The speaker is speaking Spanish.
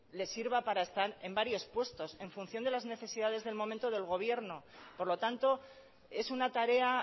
le sirva para estar en varios puestos en función de las necesidades del momento del gobierno por lo tanto es una tarea